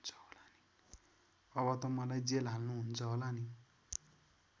अब त मलाई जेल हाल्नुहुन्छ होला नि?